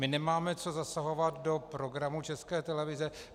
My nemáme co zasahovat do programu České televize.